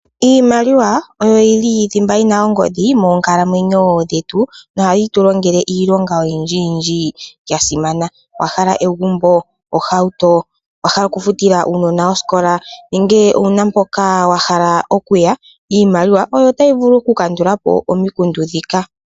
Iimaliwa oyo yili thimba yina ongodhi monkalamwenyo dhetu na ohayi tu longele iilonga oyindji ya simana. Owa hala egumbo, ohauto, owa hala oku futila uunona woye osikola nenge owuna mpoka wa hala oku ya, iimaliwa oyo tayi vulu oku kandula po omikundu ndhika.